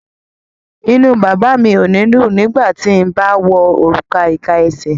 Inú bàbá mi ò ní dùn ti n bá wọ òrùka ìka esè.